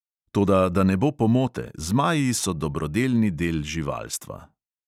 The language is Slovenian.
Toda da ne bo pomote, zmaji so dobrodelni del živalstva.